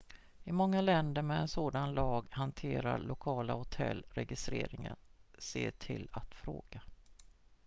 i många länder med en sådan lag hanterar lokala hotell registreringen se till att fråga